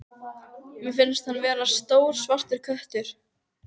Mér finnst hann vera stór svartur köttur.